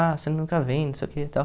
Ah, você nunca vem, não sei o que e tal.